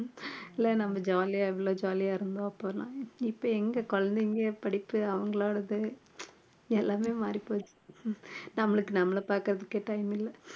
இல்லை நம்ம jolly ஆ எவ்வளோ jolly ஆ இருந்தோம் அப்பெல்லாம் இப்ப எங்க குழந்தைங்க படிப்பு அவங்களோடது எல்லாமே மாறிப் போச்சு நம்மளுக்கு நம்மளை பார்க்கிறதுக்கே time இல்லை